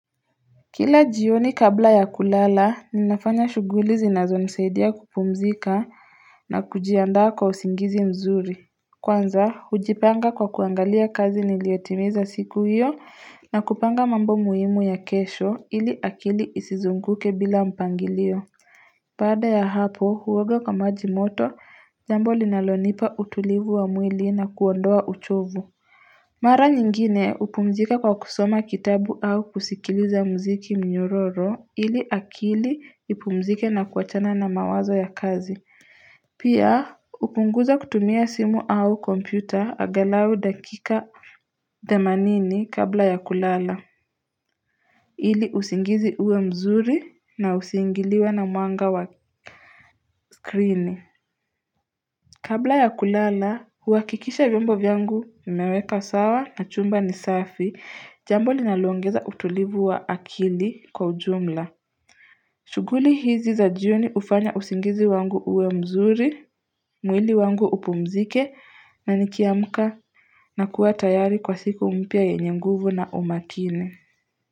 Kila jioni kabla ya kulala ninafanya shughuli zinazonisaidia kupumzika na kujiandaa kwa usingizi mzuri. Kwanza hujipanga kwa kuangalia kazi niliotimiza siku hiyo na kupanga mambo muhimu ya kesho ili akili isizunguke bila mpangilio Baada ya hapo huoga kwa maji moto, jambo linalonipa utulivu wa mwili na kuondoa uchovu. Mara nyingine hupumzika kwa kusoma kitabu au kusikiliza muziki nyororo ili akili ipumzike na kuachana na mawazo ya kazi. Pia hupunguza kutumia simu au kompyuta angalau dakika themanini kabla ya kulala. Ili usingizi uwe mzuri na usiingiliwe na mwanga wa screen. Kabla ya kulala, huhakikisha vyombo vyangu nimeweka sawa na chumba ni safi, jambo linaloongeza utulivu wa akili kwa ujumla. Shughuli hizi za jioni hufanya usingizi wangu uwe mzuri, mwili wangu upumzike na nikiamka nakuwa tayari kwa siku mpya yenye mguvu na umakini.